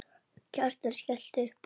Kjartan skellti upp úr.